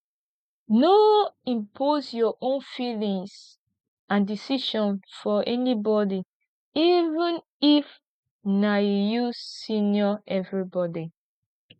no impose your own feelings and decision for anybody even if na you senior everybody